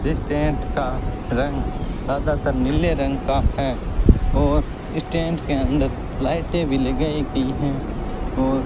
जिस टेंट का रंग ज्यादातर नीले रंग का है और इस टेंट के अंदर लाइटें भी लगाई गयी है और --